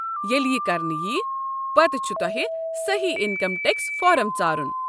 ییٚلہِ یہِ كرنہٕ ییہ، پتہٕ چھُ تۄہہِ سٔہی انكم ٹیكس فارم ژارُن۔